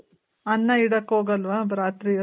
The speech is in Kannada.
ಅನ್ನ ಇಡಕ್ ಹೋಗಲ್ವ ರಾತ್ರಿ